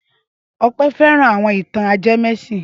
Ọpẹ́ fẹ́ran àwọn ìtàn ajẹmẹ́sìn.